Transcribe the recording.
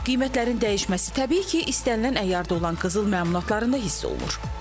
Qiymətlərin dəyişməsi təbii ki, istənilən əyarda olan qızıl məmulatlarında hiss olunur.